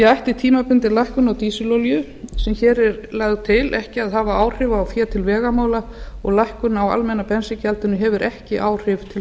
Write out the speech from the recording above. ætti tímabundin lækkun á dísilolíu sem hér er lögð til ekki að hafa áhrif á fé til vegamála og lækkun á almenna bensíngjaldinu hefur ekki áhrif til